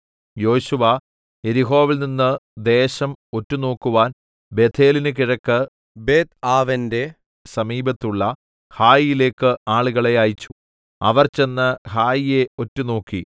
യോശുവ യെരിഹോവിൽനിന്ന് ദേശം ഒറ്റുനോക്കുവാൻ ബേഥേലിന് കിഴക്ക് ബേത്ത്ആവെന്‍റെ സമീപത്തുള്ള ഹായിയിലേക്ക് ആളുകളെ അയച്ചു അവർ ചെന്ന് ഹായിയെ ഒറ്റുനോക്കി